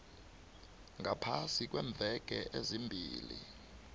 ngaphasi kweemveke ezimbili